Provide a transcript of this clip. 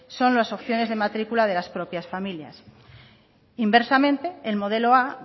son las opciones de matrícula de las propias familias inversamente el modelo a